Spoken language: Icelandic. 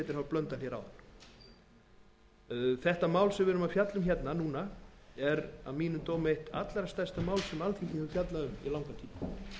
blöndal áðan málið sem við fjöllum nú um er að mínum dómi allra stærsta mál sem alþingi hefur fjallað um lengi og